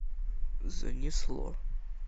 занесло